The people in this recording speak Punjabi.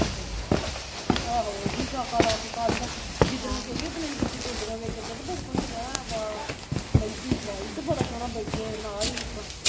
ਆਹੋ ਉਹ ਵੀ ਠਾਕਾ ਲਾ ਕੇ ਕੱਢਦਾ ਜਿੱਦਣ ਗਈ ਓਦਣ ਅਹੀ ਤੇ ਉਥੇ ਡੋਡੀਆਂ ਵੇਚਣ ਦੇ ਤੇ ਬੜੇ ਸੋਹਣੇ ਕਿਤੇ ਐ ਵਾਲ ਮੇਹਦੀ ਲਾਈ ਤੇ ਬੜਾ ਸੋਹਣਾ ਬੈਠੇ ਨਾਲ ਈ ਆਪਾ